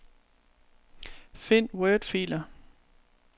Find wordfiler.